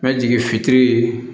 Ka jigin fitiri